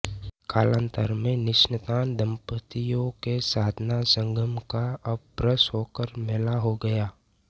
कालांतर में निसन्तान दम्पतियों के साधना संगम का अपभ्रंश होकर मेला हो गया